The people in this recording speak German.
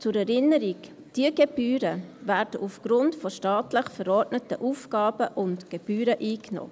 Zur Erinnerung: Diese Gebühren werden aufgrund von staatlich verordneten Aufgaben und Gebühren eingenommen.